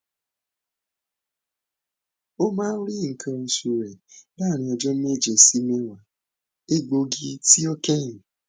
omaa ri nkan osu re laarin ọjọ meje si mewa egbogi ti o kẹhin